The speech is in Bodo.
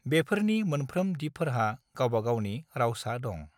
बेफोरनि मोनफ्रोम दिपफोरहा गावबा-गावनि रावसा दं।